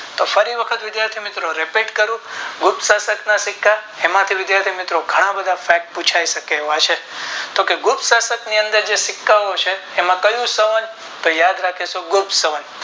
તો ફરી વખતવીહથી મિત્રો Repeat કરું ગુપ્ત સાશન સિક્કા એમાંથી પુછાય શકે તેવા છે તો કે ગુપ્ત શાસક ની અંદર જે સિક્કા નું સ્થાન છે તે ક્યુ સ્થાન તો યાદરાખીશું ગુપ્ત સ્થાન